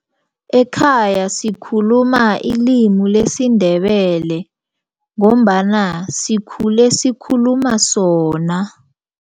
Ekhaya sikhuluma ilimi lesiNdebele ngombana sikhule sikhuluma sona.